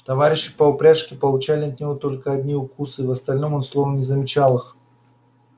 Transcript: товарищи по упряжке получали от него только одни укусы в остальном он словно не замечал их